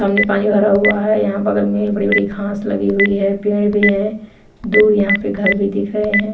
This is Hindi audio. सामने पानी भरा हुआ है यहां बगल में बड़ी-बड़ी घास लगी हुई है पेड़ भी है दूर यहां पे घर भी दिख रहे हैं।